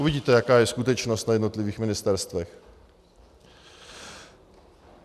Uvidíte, jaká je skutečnost na jednotlivých ministerstvech.